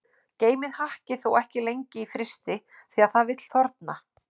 Geymið hakkið þó ekki lengi í frysti því að það vill þorna.